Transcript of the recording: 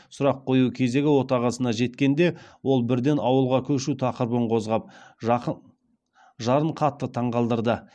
сұрақ қою кезегі отағасына жеткенде ол бірден ауылға көшу тақырыбын қозғап жарын қатты таңғалдырды